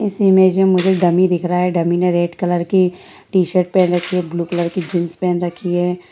इस इमेज मे मुझे डमी दिख रहा है डमी ने रेड कलर की टी-शर्ट पहन रखी है ब्लू कलर की जीन्स पहन रखी है।